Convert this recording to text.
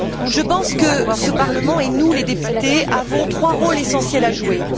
Je pense que ce Parlement, et nous, les députés, avons trois rôles essentiels à jouer.